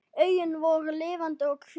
Augun voru lifandi og kvik.